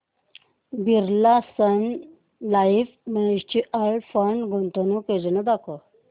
Birla Sun Life mutual fund गुंतवणूक योजना दाखव